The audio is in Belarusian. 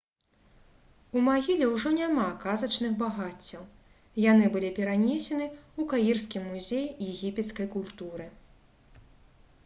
у магіле ўжо няма казачных багаццяў яны былі перанесены ў каірскі музей егіпецкай культуры